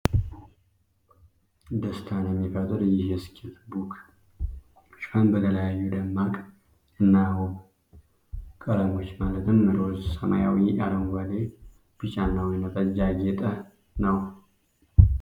ደስታን የሚፈጥር ይህ የስኬች ቡክ ሽፋን በተለያዩ ደማቅ እና ዉብ ቀለሞች፣ ማለትም ሮዝ፣ ሰማያዊ፣ አረንጓዴ፣ ቢጫ እና ወይን ጠጅ ያጌጠ ነው።